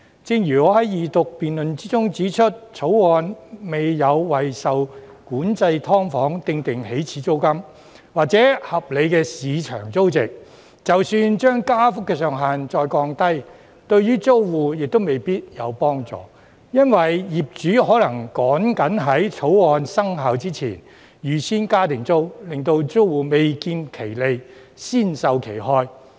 正如我在二讀辯論時指出，《條例草案》未有為受管制"劏房"訂定"起始租金"或合理的市場租值，即使把加幅的上限再降低，對租戶亦未必有幫助，因為業主可能趕緊在《條例草案》生效前預先加租，令租戶未見其利，先受其害。